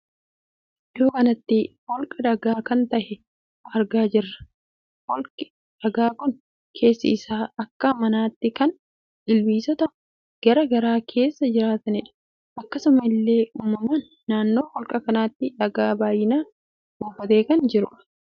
Iddoo kanatti holka dhagaa kan tahe argaa jirra. holki dhagaa kun keessi isaa akka manatti kan ilbisonii gara gara keessaa jiratanidha akkasuma illee umaman naannoo holka kanatti dhagaa baay'inaan buufate kan jirudha.